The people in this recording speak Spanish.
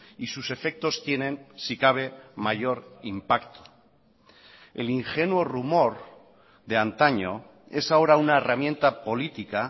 y sus efectos tienen si cabe mayor impacto el ingenuo rumor de antaño es ahora una herramienta política